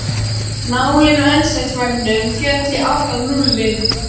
Nálin á eldsneytismælinum féll í átt að núlli.